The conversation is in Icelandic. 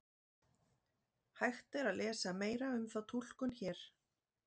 Hægt er að lesa meira um þá túlkun hér.